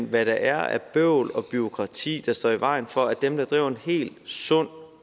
hvad der er af bøvl og bureaukrati der står i vejen for at dem der driver en helt sund